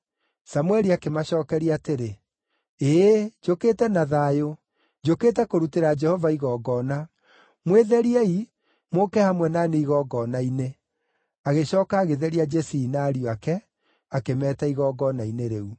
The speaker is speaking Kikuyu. Samũeli akĩmacookeria atĩrĩ, “Ĩĩ, njũkĩte na thayũ; njũkĩte kũrutĩra Jehova igongona. Mwĩtheriei, mũũke hamwe na niĩ igongona-inĩ.” Agĩcooka agĩtheria Jesii na ariũ ake, akĩmeeta igongona-inĩ rĩu.